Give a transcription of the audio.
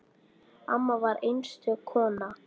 Amma var einstök kona.